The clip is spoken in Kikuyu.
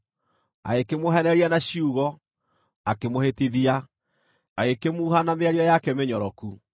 Agĩkĩmũheenereria na ciugo, akĩmũhĩtithia; agĩkĩmuuha na mĩario yake mĩnyoroku.